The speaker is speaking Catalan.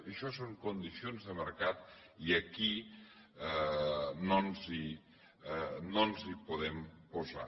això són condicions de mercat i aquí no ens hi podem posar